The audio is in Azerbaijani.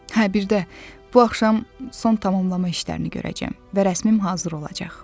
Hə, bir də, bu axşam son tamamlanma işlərini görəcəm və rəsmim hazır olacaq.